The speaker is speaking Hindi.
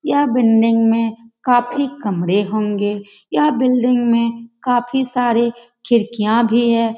यह बिंडिंग में काफी खंभे होंगे। यह बिंडिंग में काफी सारे खिड़कियां भी है।